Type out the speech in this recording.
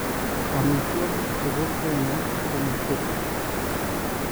Amitwokik che bo kenyaa ko Matoke.